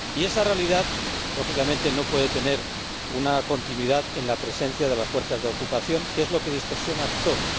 Y esa realidad, lógicamente, no puede tener una continuidad en la presencia de las fuerzas de ocupación, que es lo que distorsiona todo.